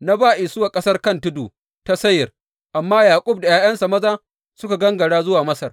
Na ba Isuwa ƙasar kan tudu ta Seyir, amma Yaƙub da ’ya’yansa maza suka gangara zuwa Masar.